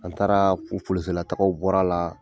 An taara latagaw bɔr'a la.